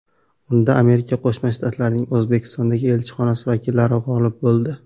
Unda Amerika Qo‘shma Shtatlarining O‘zbekistondagi elchixonasi vakillari g‘olib bo‘ldi.